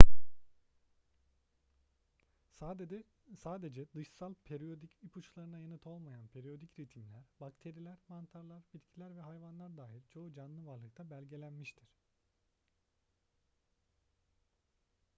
sadece dışsal periyodik ipuçlarına yanıt olmayan periyodik ritimler bakteriler mantarlar bitkiler ve hayvanlar dahil çoğu canlı varlıkta belgelenmiştir